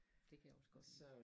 Det kan jeg også godt lide